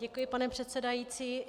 Děkuji, pane předsedající.